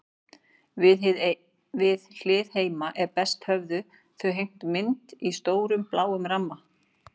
Við hlið heima er best höfðu þau hengt mynd í stórum, bláum ramma.